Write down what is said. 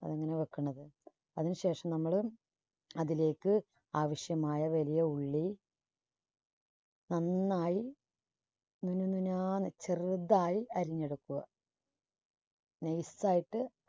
അങ്ങിനെ വെക്കുന്നത്. അതിനു ശേഷം നമ്മള് അതിലേക്ക് ആവശ്യമായ വലിയ ഉള്ളി നന്നായി മിനുമിനാന്ന് ചെറുതായി അരിഞ്ഞെടുക്കുക. nice ആയിട്ട്